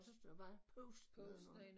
Og så står der bare post nedenunder